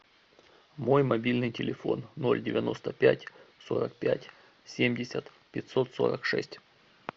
мой мобильный телефон ноль девяносто пять сорок пять семьдесят пятьсот сорок шесть